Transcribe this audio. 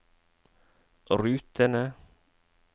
rutene